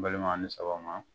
Balimaw a ni sɔgɔma